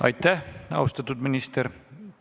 Aitäh, austatud minister!